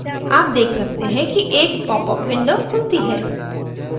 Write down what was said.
आप देख सकते हैं कि एक popअप window खुलती है